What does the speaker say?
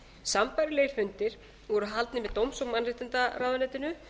sambærilegir fundir voru haldnir í dóms og mannréttindaráðuneytinu